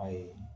Ayi